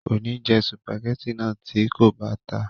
kò ní jẹ sùpàgẹ́tì náà tí kò bá ta